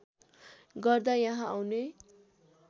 गर्दा यहाँ आउने